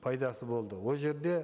пайдасы болды ол жерде